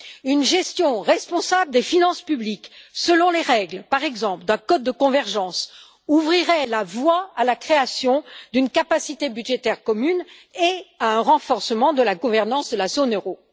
Une gestion responsable des finances publiques, selon les règles, par exemple, d'un code de convergence, ouvrirait la voie à la création d'une capacité budgétaire commune et à un renforcement de la gouvernance de la zone euro.